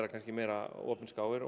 meira opinskáir og